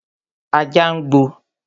Ajá nàá ń gbó